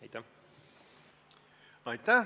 Aitäh!